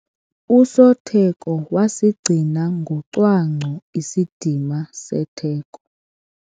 Usotheko wasigcina ngocwangco isidima setheko.